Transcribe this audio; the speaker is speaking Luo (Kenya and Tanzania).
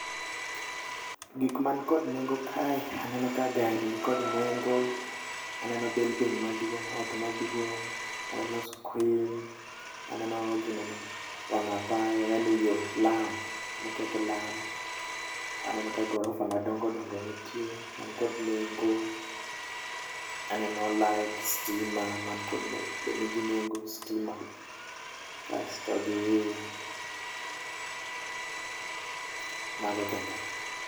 Gik man kod nengo kae aneno ka gari ni kod nengo, aneno building ma duong' ot maduong'. Aneno screen, aneno ginene, wang' apaya yani yo, lam moketo lam. Aneno ka gorofa ma dongo dongo nitie man kod nengo, aneno light, stima man kod nengo, nigi nengo stima. Kasto gi, mago kende.